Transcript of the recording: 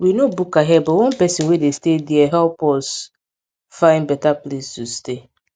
we no book ahead but one person wey dey stay dere help us find better place to stay